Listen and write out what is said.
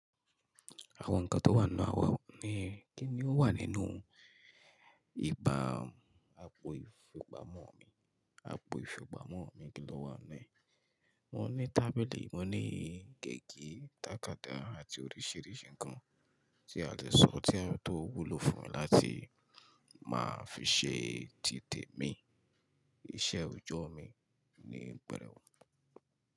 Àwọn nǹkan tó wà nínú àwa ni Kíni ó wà nínú ìpa àpò ìfipa mọ́ mi? Àpò ìfipamọ́ mi kí ló wà nu e? Mo ní tábìlì, mo ní gègé, tàkádá àti oríṣìíríṣìí nǹkan tí a lè sọ tí ó wúlò fún mi láti máa fi ṣe títè mi, iṣẹ́ òjọ́ mi ni pẹ̀rẹ̀ wu.